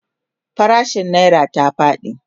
farashin naira ta faɗi